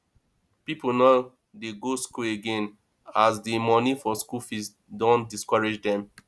people no dey go school again as de monie for school fees don discourage them